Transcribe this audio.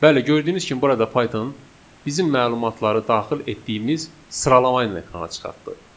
Bəli, gördüyünüz kimi burada Python bizim məlumatları daxil etdiyimiz sıralamaya görə ekrana çıxartdı.